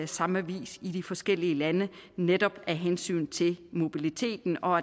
samme vis i de forskellige lande netop af hensyn til mobiliteten og